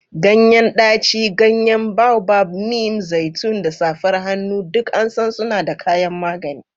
Ganyen daci, ganyen boababab, neem, zaitun, da safar hannu duk an san suna da kayan magani.